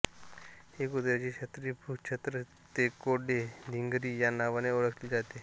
ही कुत्र्याची छत्री भूछत्र तेकोडे धिंगरी या नावाने ओळखली जाते